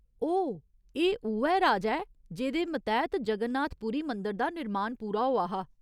ओह्, एह् उ'ऐ राजा ऐ जेह्दे मतैह्त जगन्नाथ पुरी मंदर दा निर्मान पूरा होआ हा।